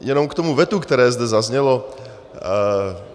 A k tomu vetu, které zde zaznělo.